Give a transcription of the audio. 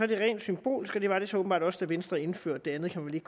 det er rent symbolsk og det var det så åbenbart også da venstre indførte det andet kan man